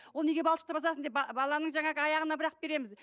ол неге балшықты басасың деп баланың жаңағы аяғына бірақ береміз